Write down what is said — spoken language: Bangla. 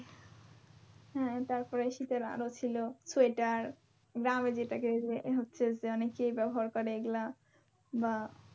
হ্যাঁ তারপরে শীতের আরো ছিল sweater গ্রামে যেটাকে যে হচ্ছে যে অনেকেই ব্যবহার করে এগুলা বা